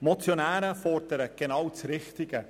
Die Motionäre fordern genau das Richtige.